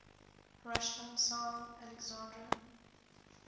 russian tsar alexander